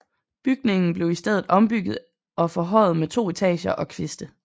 Bygningen blev i stedet ombygget og forhøjet med to etager og kviste